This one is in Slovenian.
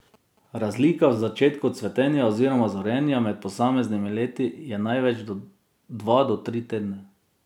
Razlika v začetku cvetenja oziroma zorenja med posameznimi leti je največ dva do tri tedne.